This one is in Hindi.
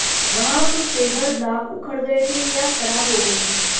वहां कुछ पेबर ब्लाक उखड़ गए थे या खराब हो गए थे